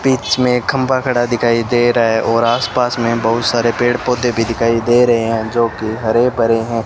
बीच में खंबा खड़ा दिखाई दे रहा है और आसपास में बहुत सारे पेड़ पौधे भी दिखाई दे रहे हैं जो की हरे भरे हैं।